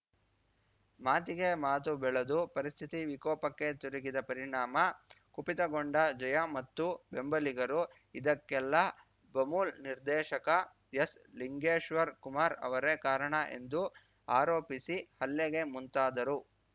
ಮಾತಿಗೆ ಮಾತು ಬೆಳೆದು ಪರಿಸ್ಥಿತಿ ವಿಕೋಪಕ್ಕೆ ತಿರುಗಿದ ಪರಿಣಾಮ ಕುಪಿತಗೊಂಡ ಜಯಮತ್ತು ಬೆಂಬಲಿಗರು ಇದಕ್ಕೆಲ್ಲ ಬಮೂಲ್‌ ನಿರ್ದೇಶಕ ಎಸ್‌ಲಿಂಗೇಶ್ವರ್ ಕುಮಾರ್‌ ಅವರೇ ಕಾರಣ ಎಂದು ಆರೋಪಿಸಿ ಹಲ್ಲೆಗೆ ಮುಂತಾದರು